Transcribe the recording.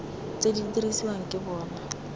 tse di dirisiwang ke bona